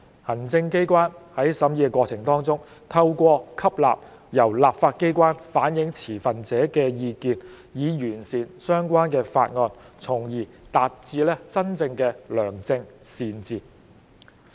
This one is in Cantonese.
行政機關在審議過程當中，透過吸納由立法機關反映持份者的意見，以完善相關的法案，從而達致真正的良政善治。